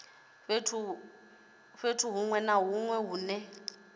fhethu huṅwe na huṅwe hune